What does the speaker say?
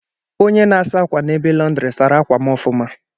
Onye na-asa akwa n'ebe lọndri sara akwa m ọfụma.